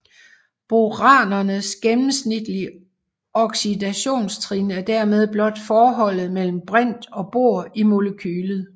Boranernes gennemsnitlige oxidationstrin er dermed blot forholdet mellem brint og bor i molekylet